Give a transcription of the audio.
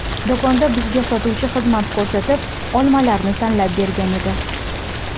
Do‘konda bizga sotuvchi xizmat ko‘rsatib, olmalarni tanlab bergan edi.